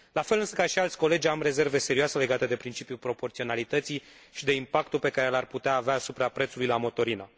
La fel, însă, ca și alți colegi am rezerve serioase legate de principiul proporționalității și de impactul pe care l ar putea avea asupra prețului la motorină.